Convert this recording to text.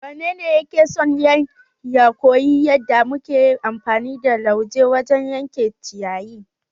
Wanene yake son ya koyi yadda muke amfani da lauje wajen yanke ciyayi?